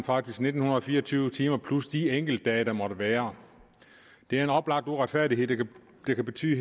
faktisk nitten fire og tyve timer plus de enkeltdage der måtte være det er en oplagt uretfærdighed der kan betyde